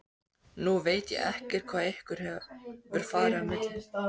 Nú veit ég ekkert hvað ykkur hefur farið á milli?